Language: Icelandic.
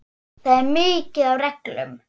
Það er mikið af reglum.